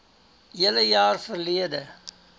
hele jaar verlede